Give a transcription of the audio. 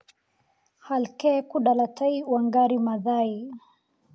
Halkee ku dhalatay Wangari Maathai?